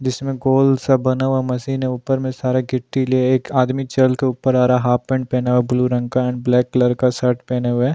जिसमें गोल सा बना हुआ मशीन है ऊपर में सारा गिट्ठी लिए एक आदमी चल के ऊपर आ रहा है हाफ पेंट पहना हुआ ब्लू रंग का एंड ब्लैक कलर का शर्ट पहने हुए है।